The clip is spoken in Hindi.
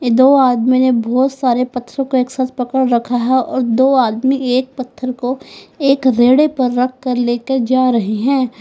दो आदमी ने बहोत सारे पथरो को एक साथ पकड़ रखा है और दो आदमी एक पत्थर को एक रेडे पर रखकर लेकर जा रहे हैं।